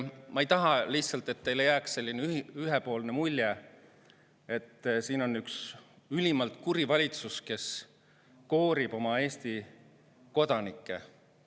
Ma lihtsalt ei taha, et teile jääks selline ühepoolne mulje, et siin on üks ülimalt kuri valitsus, kes koorib Eesti kodanikke.